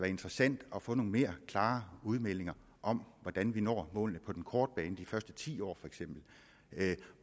interessant at få nogle mere klare udmeldinger om hvordan vi når målene på den korte bane de første ti år